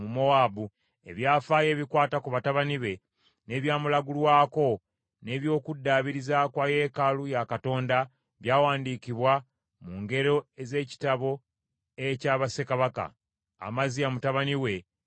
Ebyafaayo ebikwata ku batabani be, n’ebyamulagulwako, n’eby’okuddaabiriza kwa yeekaalu ya Katonda, byawandiikibwa mu ngero ez’ekitabo ekya bassekabaka. Amaziya mutabani we n’amusikira.